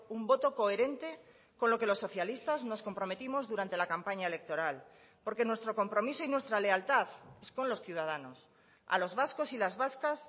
un voto coherente con lo que los socialistas nos comprometimos durante la campaña electoral porque nuestro compromiso y nuestra lealtad es con los ciudadanos a los vascos y las vascas